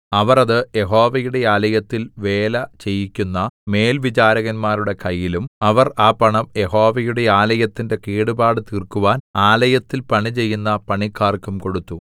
അവർ അത് യഹോവയുടെ ആലയത്തിൽ വേലചെയ്യിക്കുന്ന മേൽവിചാരകന്മാരുടെ കയ്യിലും അവർ ആ പണം യഹോവയുടെ ആലയത്തിന്റെ കേടുപാട് തീർക്കുവാൻ ആലയത്തിൽ പണിചെയ്യുന്ന പണിക്കാർക്കും കൊടുത്തു